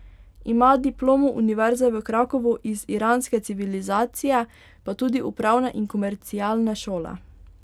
Ima diplomo univerze v Krakovu iz iranske civilizacije, pa tudi upravne in komercialne šole.